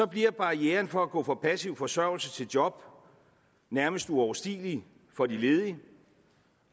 bliver barrieren for at gå fra passiv forsørgelse til job nærmest uoverstigelig for de ledige